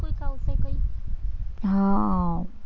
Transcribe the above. હા